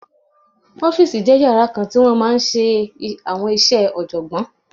Ọ́fìsì jẹ́ yàrá kan tí wọ́n ti máa n ṣe àwọn iṣẹ́ ọ̀jọ̀gbọ́n